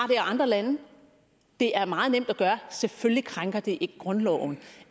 i andre lande det er meget nemt at gøre og selvfølgelig krænker det grundloven